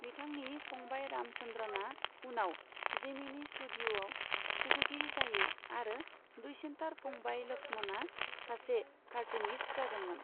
बिथांनि फंबायरामचन्द्रनआ उनाव जेमिनी स्टुडिय'आव सुजुगिरि जायो आरो दुइसिनथार फंबाय लक्ष्मणआ सासे कार्टुनिस्ट जादोंमोन।